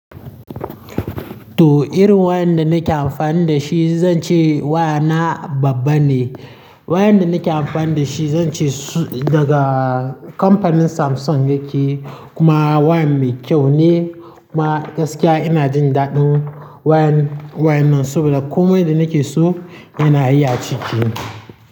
To irin wayan da nake amfani da shi, zan ce wayana babba ne. Wayan da nake amfani da shi zan ce su daga kamfanin Samsung yake. Kuma wayan mai kyau ne kuma gaskiya ina jin daɗin wayan, wayan nan saboda komai da nake so yana yi a ciki.